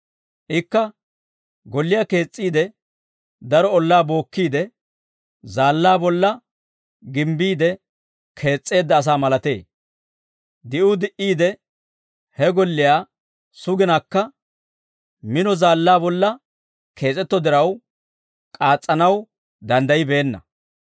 ikka golliyaa kees's'iide daro ollaa bookkiide zaallaa bolla ginbbiide kees's'eedda asaa malatee; di'uu di"iide he golliyaa suginakka, mino zaallaa bolla kees'etto diraw k'aatsanaw danddaybbeenna.